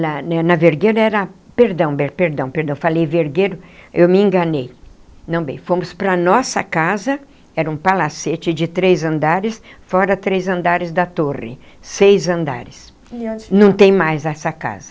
Na na Vergueiro era... perdão bem, perdão, perdão... eu falei Vergueiro... eu me enganei... não bem... fomos para a nossa casa... era um palacete de três andares... fora três andares da torre... seis andares... Não tem mais essa casa.